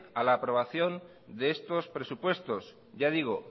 a la aprobación de estos presupuestos ya digo